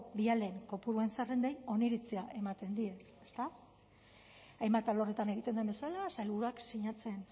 bialen kopuruen zerrendei oniritzia ematen die ezta hainbat alorretan egiten den bezala sailburuak sinatzen